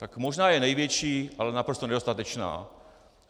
Tak možná je největší, ale naprosto nedostatečná.